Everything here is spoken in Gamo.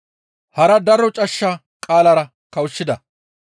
Hara daro cashsha qaalara kawushshida.